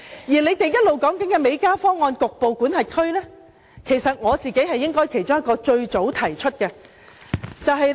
反對派提出的美加方案，其實我是其中一個最早提出此方案的人。